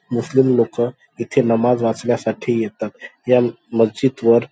मुस्लिम लोकं इथे नमाज वाचण्यासाठी येतात. ह्या मस्जिद वर.